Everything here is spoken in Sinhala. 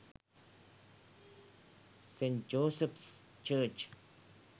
st. joseph’s church